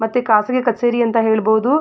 ಮತ್ತೆ ಖಾಸಗಿ ಕಚೇರಿ ಅಂತ ಹೇಳಬಹುದು-